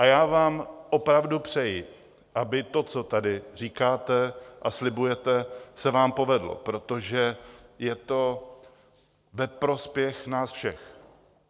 A já vám opravdu přeji, aby to, co tady říkáte a slibujete, se vám povedlo, protože je to ve prospěch nás všech.